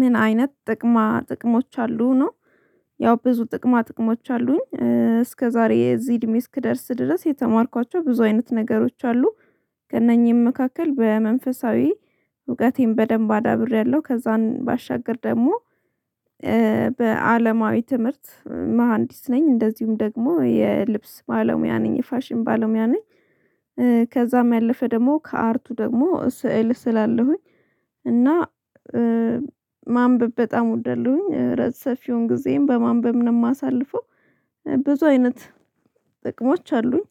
ምን አይነት ጥቅማ ጥቅሞች አሉ ነው? ያው ብዙ ጥቅማ ጥቅሞች አሉኝ እስከዛሬ እዚህ እድሜ እስክደርስ ድረስ የተማርኳቸው ብዙ አይነት ነገሮች አሉ። ከእነኚህም መካከል በመንፈሳዊ እውቀቴን በደንብ አዳብሬያለሁ ከዛን ባሻግር ደግሞ በአለማዊ ትምህርት መሃንዲስ ነኝ እንደዚሁም ደግሞ የልብስ ባለሙያ ነኝ የፋሽን ባለሙያ ነኝ። ከዛም ያለፈ ደግሞ ከአርቱ ደግሞ ስዕል እስላለሁኝ። እና ማንበብ በጣም ወደለሁኝ ረት ሰፊውን ጊዜም በማንበብ ነው የማሳልፈው። ብዙ አይነት ጥቅሞች አሉኝ